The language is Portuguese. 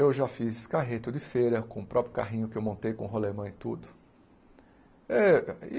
Eu já fiz carreto de feira com o próprio carrinho que eu montei com o rolêmã e tudo. êh